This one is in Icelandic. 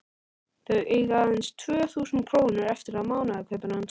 Þau eiga aðeins tvö þúsund krónur eftir af mánaðarkaupinu hans.